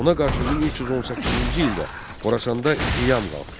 Ona qarşı 1318-ci ildə Xorasanda qiyam qalxdı.